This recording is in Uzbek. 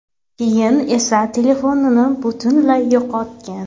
Keyin esa telefonini butunlay yo‘qotgan.